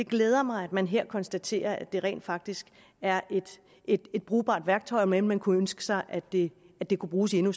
glæder mig at man her konstaterer at det rent faktisk er et brugbart værktøj om end man kunne ønske sig at det det kunne bruges i endnu